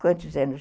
Quantos anos?